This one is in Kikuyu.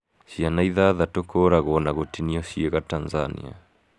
Ciana ithathatũ kũũraguo na gutinio ciĩga Tanzania.